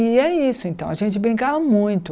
E é isso então, a gente brincava muito.